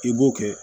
I b'o kɛ